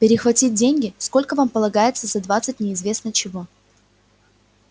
перехватить деньги сколько там полагается за двадцать неизвестно чего